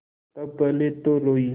तब पहले तो रोयी